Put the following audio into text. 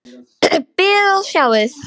Bíðið og sjáið!